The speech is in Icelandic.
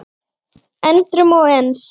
endrum og eins.